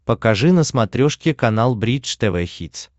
покажи на смотрешке канал бридж тв хитс